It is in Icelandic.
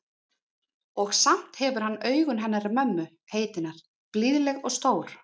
Og samt hefur hann augun hennar mömmu heitinnar, blíðleg og stór.